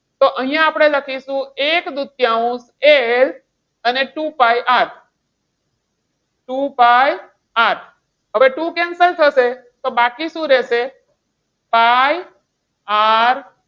તો અહીંયા આપણે લખીશું એક દૂતીયાંશ L અને two pi R two pi R હવે two cancel થશે તો બાકી શું રહેશે? pi R